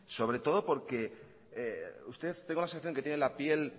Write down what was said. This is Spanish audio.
sobre todo porque usted tengo la sensación que tiene la piel